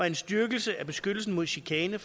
en styrkelse af beskyttelsen mod chikane